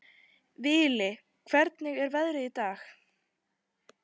Vili, hvernig er veðrið í dag?